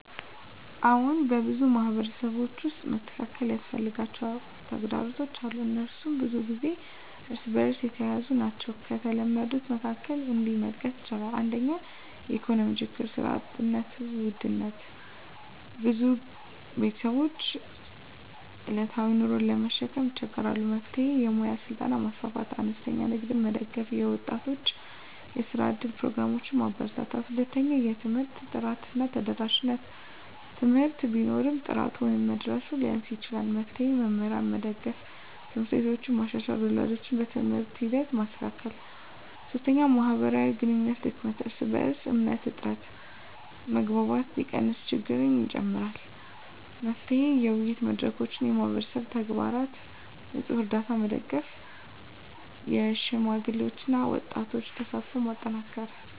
አዎን፣ በብዙ ማህበረሰቦች ውስጥ መስተካከል ያስፈልጋቸው ተግዳሮቶች አሉ፤ እነሱም ብዙ ጊዜ እርስ በእርስ የተያያዙ ናቸው። ከተለመዱት መካከል እነዚህን መጥቀስ ይቻላል፦ 1) የኢኮኖሚ ችግኝ (ስራ እጥረት፣ ውድነት): ብዙ ቤተሰቦች ዕለታዊ ኑሮን ለመሸከም ይቸገራሉ። መፍትሄ: የሙያ ስልጠና ማስፋፋት፣ አነስተኛ ንግድን መደገፍ፣ የወጣቶች የስራ እድል ፕሮግራሞችን ማበርታት። 2) የትምህርት ጥራት እና ተደራሽነት: ትምህርት ቢኖርም ጥራቱ ወይም መድረሱ ሊያንስ ይችላል። መፍትሄ: መምህራንን መደገፍ፣ ት/ቤቶችን መሻሻል፣ ወላጆችን በትምህርት ሂደት ማካተት። 3) የማህበራዊ ግንኙነት ድክመት (እርስ በእርስ እምነት እጥረት): መግባባት ሲቀንስ ችግኝ ይጨምራል። መፍትሄ: የውይይት መድረኮች፣ የማህበረሰብ ተግባራት (ንፅህና፣ ርዳታ) መደገፍ፣ የሽማግሌዎችና የወጣቶች ተሳትፎን ማጠናከር።